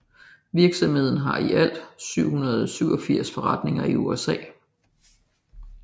Virksomheden har i alt 787 forretninger i USA